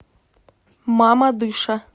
мамадыша